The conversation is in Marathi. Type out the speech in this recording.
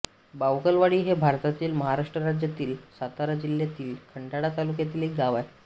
बावकलवाडी हे भारतातील महाराष्ट्र राज्यातील सातारा जिल्ह्यातील खंडाळा तालुक्यातील एक गाव आहे